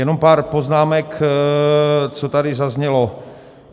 Jenom pár poznámek, co tady zaznělo.